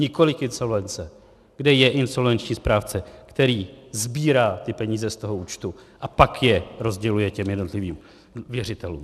Nikoliv insolvence, kde je insolvenční správce, který sbírá ty peníze z toho účtu a pak je rozděluje těm jednotlivým věřitelům.